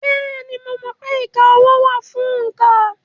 Bẹ́ẹ̀ni, mo mọ̀ pé ìka ọwọ́ wà fún òǹkà.